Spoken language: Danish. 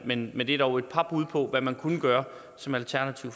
men men det er dog et par bud på hvad man kunne gøre som alternativ